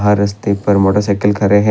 रास्ते पर मोटरसाइकिल खड़े हैं।